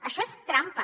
això és trampa